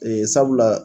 Ee sabula